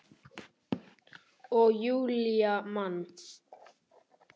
Og Júlía man.